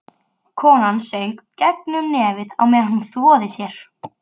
Konan söng gegnum nefið á meðan hún þvoði sér.